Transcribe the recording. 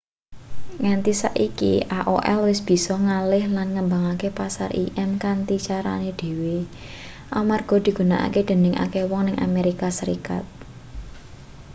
nganti saiki aol wis bisa ngalih lan ngembangke pasar im kanthi carane dhewe amarga digunakake dening akeh wong ning amerika serikat